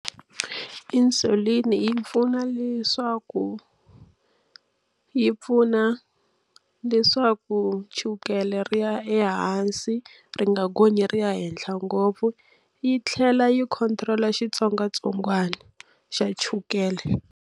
Insulin yi pfuna leswaku yi pfuna leswaku chukele ri ya ehansi, ri nga gonyi ri ya henhla ngopfu. Yi tlhela yi control-a xitsongwatsongwana xa chukele.